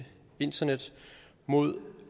internet mod